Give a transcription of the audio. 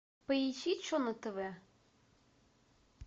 поищи че на тв